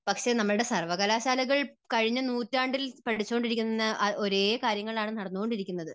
പക്ഷേ നമ്മുടെ സർവ്വകലാശാലകൾ കഴിഞ്ഞ നൂറ്റാണ്ടിൽ പഠിച്ചുകൊണ്ടിരിക്കുന്ന ഒരേ കാര്യങ്ങളാണ് നടന്നുകൊണ്ടിരിക്കുന്നത്